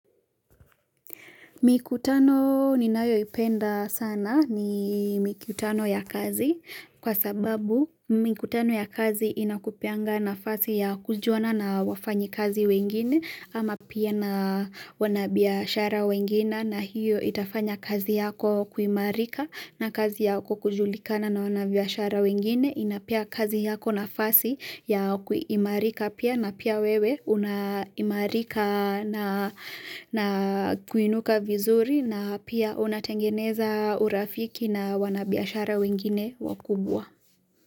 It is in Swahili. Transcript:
Mikutano ninayoipenda sana ni mikutano ya kazi kwa sababu mikutano ya kazi inakupeanga nafasi ya kujuana na wafanyikazi wengine ama pia na wanabiashara wengine na hiyo itafanya kazi yako kuimarika na kazi yako kujulikana na wanabiashara wengine. Inapea kazi yako nafasi ya kuimarika pia na pia wewe unaimarika na kuinuka vizuri na pia unatengeneza urafiki na wanabiashara wengine wakubwa.